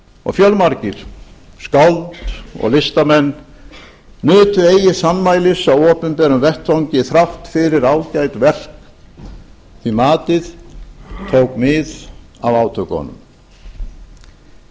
og fjölmargir skáld og listamenn nutu eigi sannmælis á opinberum vettvangi þrátt fyrir ágæt verk því matið tók mið af átökunum það